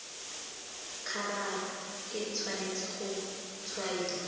khabara e tshwanetse go tshwaiwa